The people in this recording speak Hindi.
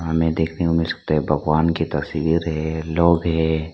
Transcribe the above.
हमें देखने को मिल सकता है। भगवान की तस्वीर है लोग है।